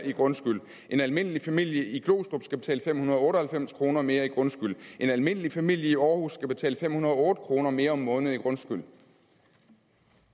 i grundskyld en almindelig familie i glostrup skal betale fem hundrede og otte og halvfems kroner mere i grundskyld en almindelig familie i aarhus skal betale fem hundrede og otte kroner mere om måneden i grundskyld